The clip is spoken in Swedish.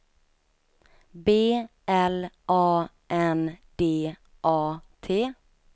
B L A N D A T